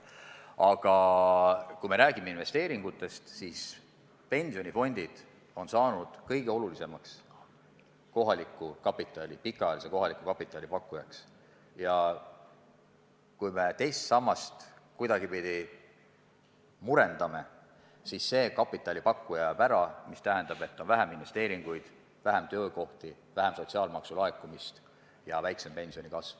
Aga kui räägime investeeringutest, siis pensionifondid on saanud kõige olulisemaks pikaajalise kohaliku kapitali pakkujaks, ja kui me teist sammast kuidagi murendame, siis see kapitalipakkuja kaob ära, mis tähendab, et on vähem investeeringuid, vähem töökohti, vähem sotsiaalmaksu laekumist ja väiksem pensionikasv.